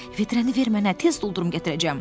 Vedrəni ver mənə, tez doldurub gətirəcəm.